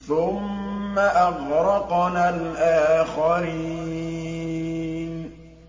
ثُمَّ أَغْرَقْنَا الْآخَرِينَ